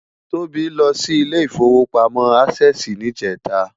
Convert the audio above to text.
Tobi lò si Ilé Ifówópámò Ásèsì nijètá